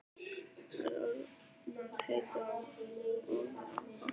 Þær orðnar heitar og móðar af hoppinu.